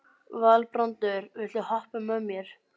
Valbrandur, viltu hoppa með mér?